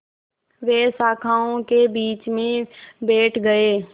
वे शाखाओं के बीच में बैठ गए